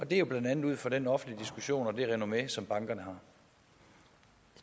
det er jo blandt andet ud fra den offentlige diskussion og det renommé som bankerne